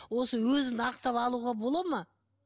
осы өзін ақтап алуға болады ма